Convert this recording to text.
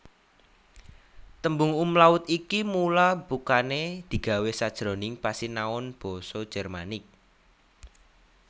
Tembung umlaut iki mula bukané digawé sajroning pasinaon basa Jermanik